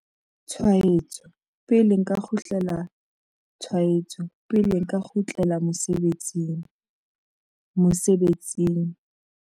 Tshwaetso, pele nka kgutlela tshwaetso, pele nka kgutlela mosebetsing, mosebetsing.